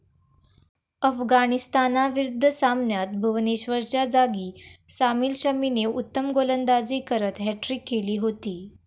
अफगाणिस्तानाविरुद्ध सामन्यात भुवनेश्वरच्या जागी सामील शमीने उत्तम गोलंदाजी करत हॅट्रिक केली होती.